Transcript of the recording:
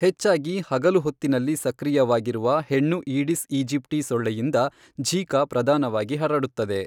ಹೆಚ್ಚಾಗಿ ಹಗಲು ಹೊತ್ತಿನಲ್ಲಿ ಸಕ್ರಿಯವಾಗಿರುವ ಹೆಣ್ಣು ಈಡಿಸ್ ಈಜಿಪ್ಟಿ ಸೊಳ್ಳೆಯಿಂದ ಝಿಕಾ ಪ್ರಧಾನವಾಗಿ ಹರಡುತ್ತದೆ.